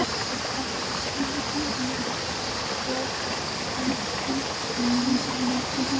Og þennan tíma á sunnudögum skoða ég hvítu myndamöppuna.